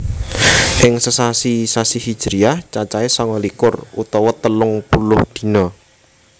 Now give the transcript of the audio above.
Ing sesasi sasi Hijriyah cacahé sanga likur utawa telung puluh dina